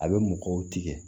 A bɛ mɔgɔw tigɛ